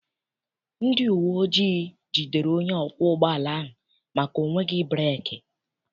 Ndị uwe ojii jidere onye ọkwọ ụgbọala ahụ maka ọ nweghị breeki.